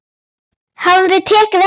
Hafði tekið eftir henni.